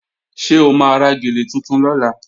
Ṣé o máa ra gèlè tuntun lọ́la?